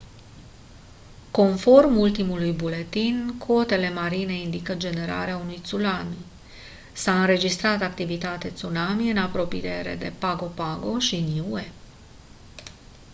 conform ultimului buletin cotele marine indică generarea unui tsunami s-a înregistrat activitate tsunami în apropriere de pago pago și niue